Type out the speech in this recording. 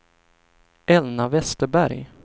Elna Westerberg